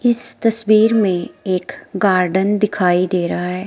इस तस्वीर में एक गार्डन दिखाई दे रहा है।